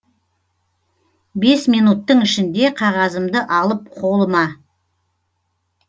бес минуттың ішінде қағазымды алып қолыма